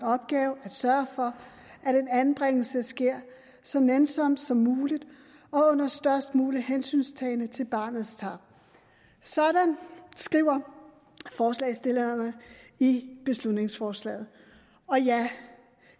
opgave at sørge for at en anbringelse sker så nænsomt som muligt og under størst mulig hensyntagen til barnets tarv sådan skriver forslagsstillerne i beslutningsforslaget og ja